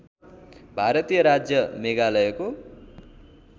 भारतीय राज्य मेघालयको